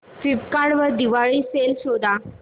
Flipkart वर Diwali sale शोधा